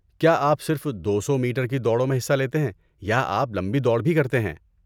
کیا آپ صرف دو سو میٹر کی دوڑوں میں حصہ لیتے ہیں یا آپ لمبی دوڑ بھی کرتے ہیں؟